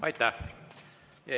Aitäh!